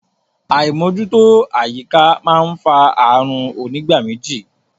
Àímójútó àyíká máa fa ààrùn onígbáméjì.